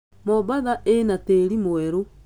Mombasa ĩna tĩri mwerũ.